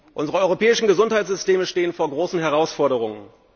Unsere europäischen Gesundheitssysteme stehen vor großen Herausforderungen.